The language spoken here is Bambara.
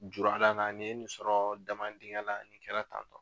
Jura la na nin ye nin sɔrɔ dama dingɛ la nin kɛra tantɔ